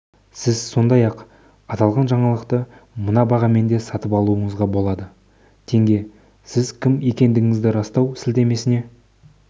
сіз сондай-ақ аталған жаңалықты мына бағамен де сатып алуыңызға болады тенге сіз кім екендігіңізді растау сілтемесіне